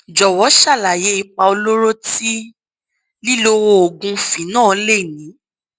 jọwọ ṣàlàyé ipa olóró tí lílo oògùn phenol lè ní